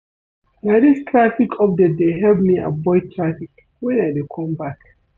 Na dis traffic update dey help me avoid traffic wen I dey come back.